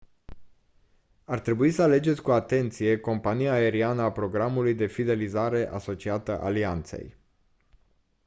ar trebui să alegeți cu atenție compania aeriană a programului de fidelizare asociată alianței